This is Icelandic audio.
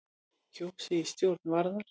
Kjörið í stjórn Varðar